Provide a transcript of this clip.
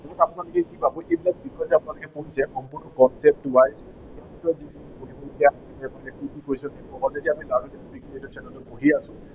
আপোনালোকে কি পাব, এই বিলাক বিষয় যে আপোনালোকে পঢ়িছে সম্পূৰ্ণ concept wise এনেকুৱা যিকোনো, কি কি question আহিব, আমি জানো যে এইকেইটা channel ত পঢ়ি আছো